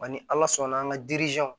Ani ala sɔnna an ka